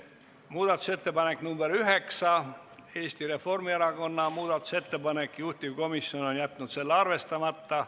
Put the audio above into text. Muudatusettepanek nr 9, Eesti Reformierakonna muudatusettepanek, juhtivkomisjon on jätnud selle arvestamata.